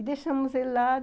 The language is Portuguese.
E deixamos ele lá.